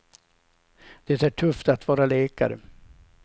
Det är tufft att vara läkare.